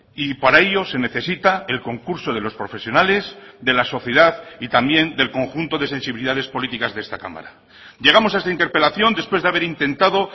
y para ello se necesita el concurso de los profesionales de la sociedad y también del conjunto de sensibilidades políticas de esta cámara llegamos a esta interpelación después de haber intentado